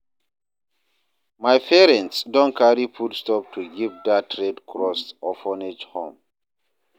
My parents don carry foodstuff go give dat Red Cross orphanage home.